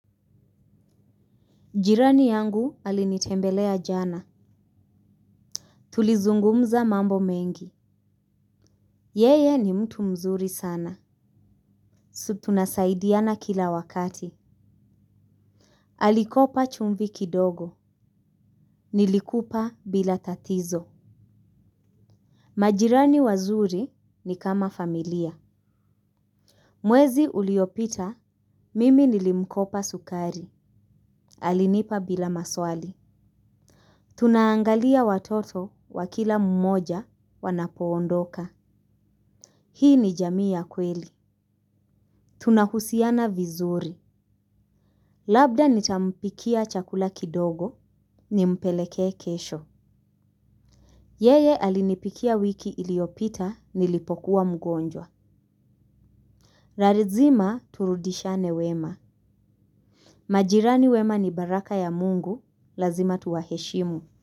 Jirani yangu alinitembelea jana. Tulizungumza mambo mengi. Yeye ni mtu mzuri sana. Sub tunasaidiana kila wakati. Alikopa chumvi kidogo. Nilikupa bila tatizo. Majirani wazuri ni kama familia. Mwezi uliopita, mimi nilimkopa sukari. Alinipa bila maswali. Tunaangalia watoto wa kila mmoja wanapoondoka. Hii ni jamii ya kweli. Tunahusiana vizuri. Labda nitampikia chakula kidogo nimpeleke kesho. Yeye alinipikia wiki iliopita nilipokuwa mgonjwa. Larizima turudishane wema. Majirani wema ni baraka ya mungu lazima tuwaheshimu.